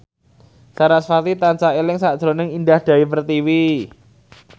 sarasvati tansah eling sakjroning Indah Dewi Pertiwi